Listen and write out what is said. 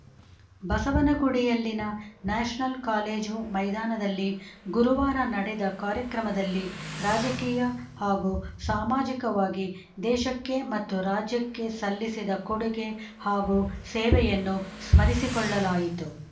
ಬಸವನಗುಡಿಯಲ್ಲಿನ national college ಮೈದಾನದಲ್ಲಿ ಗುರುವಾರ ನಡೆದ ಕಾರ್ಯಕ್ರಮದಲ್ಲಿ ರಾಜಕೀಯ ಹಾಗೂ ಸಾಮಾಜಿಕವಾಗಿ ದೇಶಕ್ಕೆ ಮತ್ತು ರಾಜ್ಯಕ್ಕೆ ಸಲ್ಲಿಸಿದ ಕೊಡುಗೆ ಹಾಗೂ ಸೇವೆಯನ್ನು ಸ್ಮರಿಸಿಕೊಳ್ಳಲಾಯಿತು